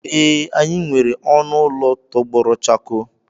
Ee, anyị nwere ọnụ ụlọ tọgbọrọ chakoo.